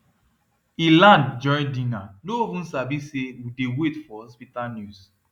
he land during dinner no even sabi say we dey wait for hospital news